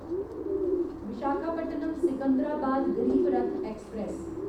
Visakhapatnam Secunderabad Garib Rath express